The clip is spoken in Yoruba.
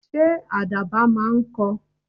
Ṣé àdàbà máa ń kọ?